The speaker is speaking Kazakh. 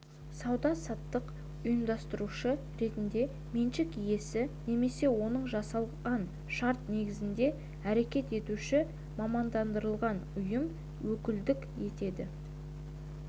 сауда-саттық ұйымдастырушы ретінде меншік иесі немесе онымен жасалған шарт негізінде әрекет етуші мамандандырылған ұйым өкілдік етеді